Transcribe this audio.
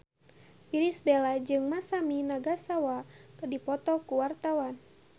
Irish Bella jeung Masami Nagasawa keur dipoto ku wartawan